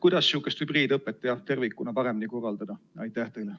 Kuidas ikkagi hübriidõpet tervikuna paremini korraldada?